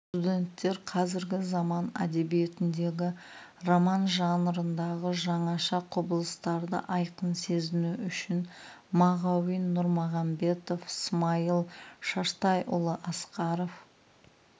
студенттер қазіргі заман әдебиетіндегі роман жанрындағы жаңаша құбылыстарды айқын сезіну үшін мағауин нұрмағанбетов смайыл шаштайұлы асқаров